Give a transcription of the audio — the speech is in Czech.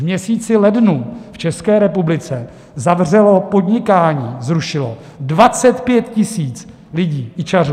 V měsíci lednu v České republice zavřelo podnikání, zrušilo 25 000 lidí, ičařů.